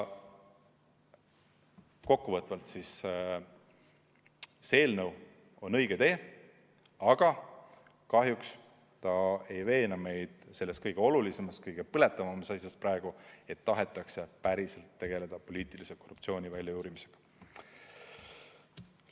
Kokkuvõtvalt: see eelnõu on õige tee, aga kahjuks see ei veena meid selles kõige olulisemas, kõige põletavamas asjas, et tahetakse päriselt tegeleda poliitilise korruptsiooni väljajuurimisega.